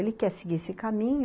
Ele quer seguir esse caminho.